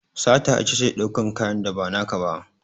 Sata itace daukan kanyan da ba naka ba